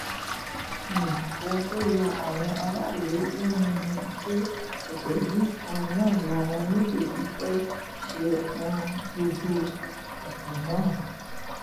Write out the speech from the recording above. um ohun tó ya àwọn aráàlú lẹ́nu ni pé ọ̀sẹ̀ yìí kan náà làwọn méjèèjì fẹ́ẹ́ ṣe um gbogbo ètò náà